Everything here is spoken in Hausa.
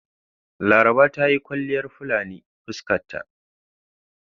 Laraba ta yi kwalliyar fulani fuskan ta..